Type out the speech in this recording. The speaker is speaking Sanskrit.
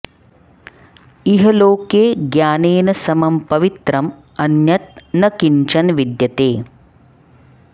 इह लोके ज्ञानेन समं पवित्रम् अन्यत् न किञ्चन विद्यते